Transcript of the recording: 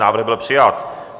Návrh byl přijat.